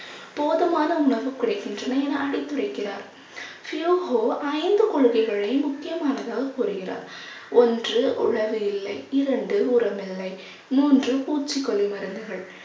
போதுமான உணவு கிடைக்கின்றன என அறிவித்துரைக்கிறார். ஐந்து கொள்கைகளில் முக்கியமானதாக கூறுகிறார். ஒன்று உழவு இல்லை இரண்டு உரம் இல்லை மூன்று பூச்சிக்கொல்லி மருந்துகள்